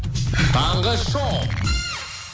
таңғы шоу